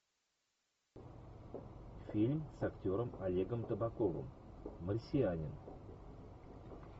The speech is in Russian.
фильм с актером олегом табаковым марсианин